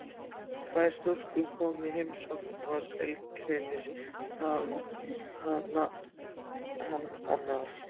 Tvær stúlkur koma í heimsókn og tilgreinir hann nafn annarrar.